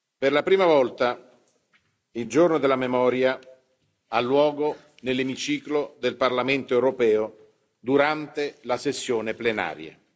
Per la prima volta il Giorno della Memoria al luogo nell'emiciclo del Parlamento europeo, durante la sessione plenaria.